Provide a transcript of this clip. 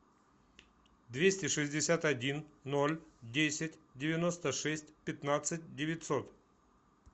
двести шестьдесят один ноль десять девяносто шесть пятнадцать девятьсот